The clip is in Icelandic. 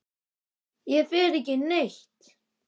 Ég fer ekki neitt.